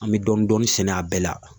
An bɛ dɔɔnin dɔɔnin sɛnɛ a bɛɛ la